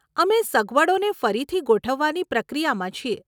અમે સગવડોને ફરીથી ગોઠવવાની પ્રક્રિયામાં છીએ.